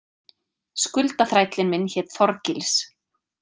Skuldaþrællinn minn hét Þorgils.